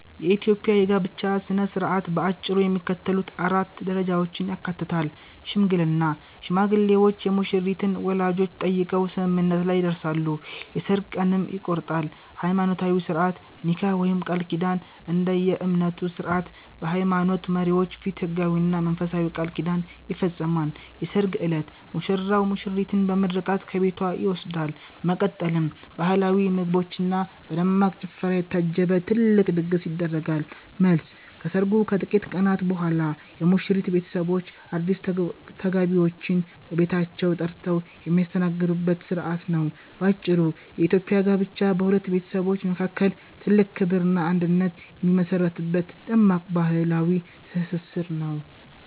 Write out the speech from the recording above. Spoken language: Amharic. የኢትዮጵያ የጋብቻ ሥነ ሥርዓት በአጭሩ የሚከተሉትን 4 ደረጃዎች ያካትታል፦ ሽምግልና፦ ሽማግሌዎች የሙሽሪትን ወላጆች ጠይቀው ስምምነት ላይ ይደርሳሉ፤ የሠርግ ቀንም ይቆረጣል። ሃይማኖታዊ ሥርዓት (ኒካህ/ቃል ኪዳን)፦ እንደየእምነቱ ሥርዓት በሃይማኖት መሪዎች ፊት ሕጋዊና መንፈሳዊ ቃል ኪዳን ይፈጸማል። የሠርግ ዕለት፦ ሙሽራው ሙሽሪትን በምርቃት ከቤቷ ይወስዳል፤ በመቀጠልም በባህላዊ ምግቦችና በደማቅ ጭፈራ የታጀበ ትልቅ ድግስ ይደረጋል። መልስ፦ ከሰርጉ ከጥቂት ቀናት በኋላ የሙሽሪት ቤተሰቦች አዲስ ተጋቢዎችን በቤታቸው ጠርተው የሚያስተናግዱበት ሥርዓት ነው። ባጭሩ፤ የኢትዮጵያ ጋብቻ በሁለት ቤተሰቦች መካከል ትልቅ ክብርና አንድነት የሚመሠረትበት ደማቅ ባህላዊ ትስስር ነው።